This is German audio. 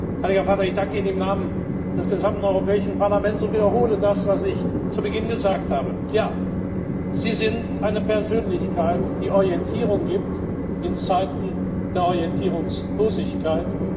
Heiliger Vater, ich danke Ihnen im Namen des gesamten Europäischen Parlaments und wiederhole das, was ich zu Beginn gesagt habe Ja, Sie sind eine Persönlichkeit, die Orientierung gibt in Zeiten der Orientierungslosigkeit.